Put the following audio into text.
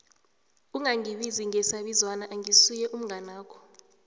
ungangibizi ngesabizwana angisuye umnganakho